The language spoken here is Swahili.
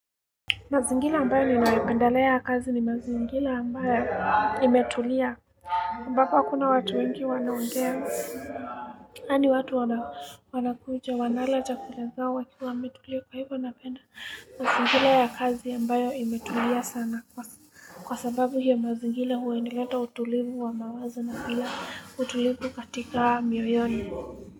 Mazingira ambayo ninayopendelea ya kazi ni mazingira ambayo imetulia. Ambapo hakuna watu wengi wanaongea. Yani watu wanakuja, wanala chakula zao wakiwa wametulia kwa hivyo napenda. Mazingira ya kazi ambayo imetulia sana kwa sababu hiyo mazingira huwa nireta utulivu wa mawazo na pia utulivu katika mwiyoyoni.